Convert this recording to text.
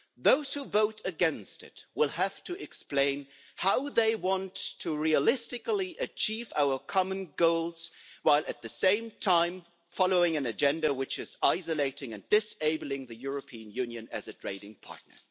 Those who vote against it will have to explain how they want to realistically achieve our common goals while, at the same time, following an agenda which is isolating and disabling the European Union as a trading partner.